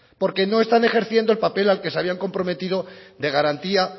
porque no están ejerciendo el papel al que se ha iban comprometido de garantía